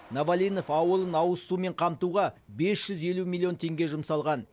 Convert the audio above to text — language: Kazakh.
новолинов ауылын ауызсумен қамтуға бес жүз елу миллион теңге жұмсалған